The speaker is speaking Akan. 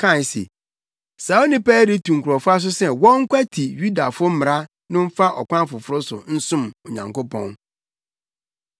kae se, “Saa onipa yi retu nkurɔfo aso sɛ wɔnkwati Yudafo mmara no mfa ɔkwan foforo so nsom Onyankopɔn.”